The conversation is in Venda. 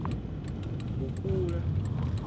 mukula